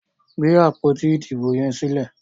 gbé àpótí Ìdìbò yes sílè!